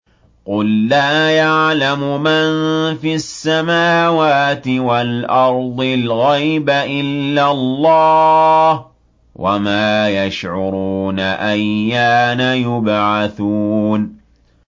قُل لَّا يَعْلَمُ مَن فِي السَّمَاوَاتِ وَالْأَرْضِ الْغَيْبَ إِلَّا اللَّهُ ۚ وَمَا يَشْعُرُونَ أَيَّانَ يُبْعَثُونَ